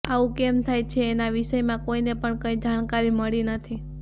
આવું કેમ થાય છે એના વિષયમાં કોઈને પણ કંઈ જાણકારી મળી નથી